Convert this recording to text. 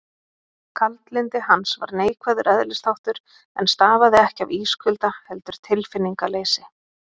Kaldlyndi hans var neikvæður eðlisþáttur, en stafaði ekki af ískulda, heldur tilfinningaleysi.